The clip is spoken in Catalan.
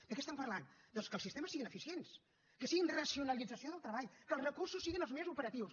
de què estem parlant doncs que els sistemes siguin eficients que siguin racionalització del treball que els recursos siguin els més operatius